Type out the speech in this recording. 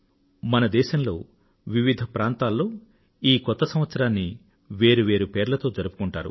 మన దేశంలో వివిధ ప్రాంతాలలో ఈ కొత్త సంవత్సరాన్నివేరు వేరు పేర్లతో జరుపుకొంటుంటారు